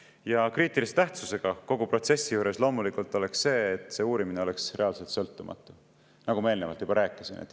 Ja kriitilise tähtsusega kogu protsessi juures on loomulikult see, et see uurimine oleks reaalselt sõltumatu, nagu ma eelnevalt juba rääkisin.